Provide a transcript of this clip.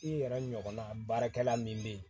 I yɛrɛ ɲɔgɔnna baarakɛla min bɛ yen